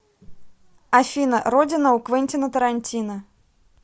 афина родина у квентина тарантино